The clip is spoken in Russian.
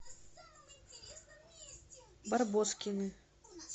барбоскины